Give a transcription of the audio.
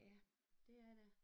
Ja det er det